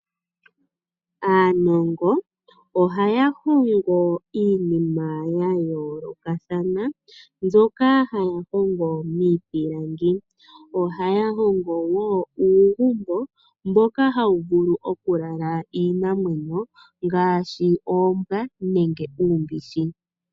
Aanongo ohaya hongo iinima ya yoolokathana mbyoka haya hongo miipilangi. Ohaya hongo woo uugumbo mboka hawu vulu okulala iinamwenyo ngaashi oombwa nenge uumbishi.